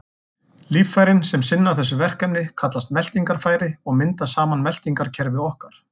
Líffærin sem sinna þessu verkefni kallast meltingarfæri og mynda saman meltingarkerfi okkar.